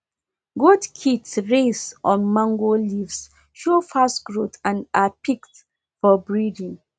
goat kids raised on mango leaves show fast growth and are picked for breeding